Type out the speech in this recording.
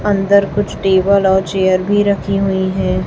अंदर कुछ टेबल और चेयर भी रखी हुई है।